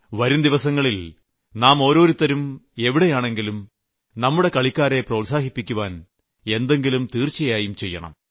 വരുംദിവസങ്ങളിൽ നാം ഓരോരുത്തരും എവിടെയാണെങ്കിലും നമ്മുടെ കളിക്കാരെ പ്രോത്സാഹിപ്പിക്കുവാൻ എന്തെങ്കിലും തീർച്ചയായും ചെയ്യണം